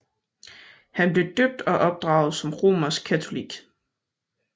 Han blev døbt og opdraget som romersk katolik